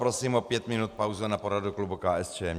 Prosím o pět minut pauzu na poradu klubu KSČM.